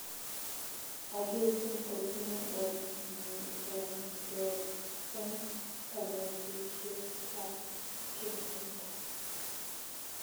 Agetui kotinye orr nr teer eng kanetishiet ak kenaita